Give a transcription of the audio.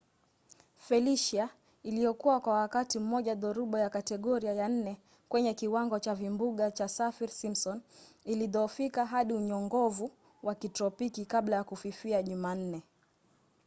felicia iliyokuwa kwa wakati mmoja dhoruba ya kategoria ya 4kwenye kiwango cha vimbunga cha saffir- simpson ilidhoofika hadi unyongovu wa kitropiki kabla ya kufifia jumanne